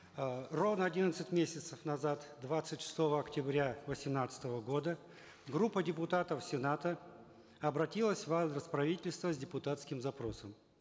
э ровно одиннадцать месяцев назад двадцать шестого октября восемнадцатого года группа депутатов сената обратилась в адрес правительства с депутатским запросом